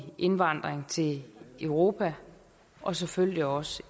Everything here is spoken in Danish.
indvandring til europa og selvfølgelig også